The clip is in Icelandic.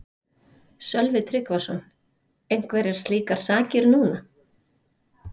Sölvi Tryggvason: Einhverjar slíkar sakir núna?